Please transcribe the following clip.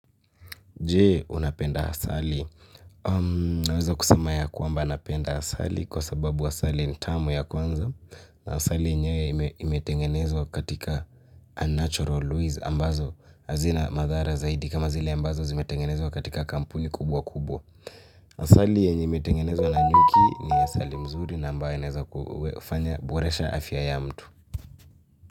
Je, unapenda asali? Naweza kusema ya kwamba napenda asali kwa sababu asali ni tamu ya kwanza, asali yenyewe imetengenezwa katika unnatural ways ambazo hazina madhara zaidi kama zile ambazo zimetengenezwa katika kampuni kubwa kubwa. Asali yenye imetengenezwa na nyuki ni asali mzuri na ambayo inaeza kufanya boresha afya ya mtu.